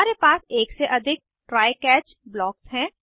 हमारे पास एक से अधिक ट्राय कैच ब्लॉक्स हैं